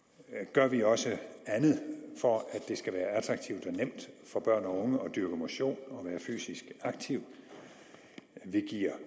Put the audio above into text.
gør vi også andet for at det skal være attraktivt og nemt for børn og unge at dyrke motion og være fysisk aktive vi giver